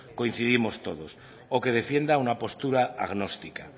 coincidimos todos o que defienda una postura agnóstica